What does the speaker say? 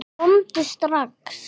Komdu strax!